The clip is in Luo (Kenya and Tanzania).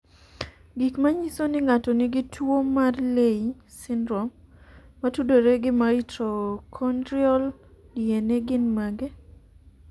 Gik manyiso ni ng'ato nigi tuwo mar Leigh syndrome motudore gi mitochondrial DNA gin mage?